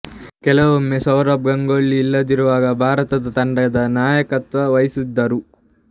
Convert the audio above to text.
ಕೆಲವೊಮ್ಮೆ ಸೌರವ್ ಗಂಗೂಲಿ ಇಲ್ಲದಿರುವಾಗ ಭಾರತ ತಂಡದ ನಾಯಕತ್ವ ವಹಿಸಿದ್ದರು